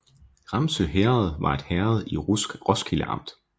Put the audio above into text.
Ramsø Herred var et herred i Roskilde Amt